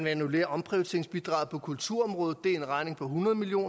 annullere omprioriteringsbidraget på kulturområdet det er en regning på hundrede million